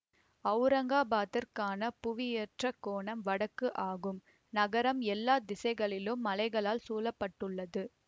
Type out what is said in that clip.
அவுரங்காபாத்திற்கான புவியியற் கோணம் வடக்கு ஆகும் நகரம் எல்லா திசைகளிலும் மலைகளால் சூழ பட்டுள்ளது